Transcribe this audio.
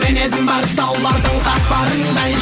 мінезім бар таулардың қатпарындай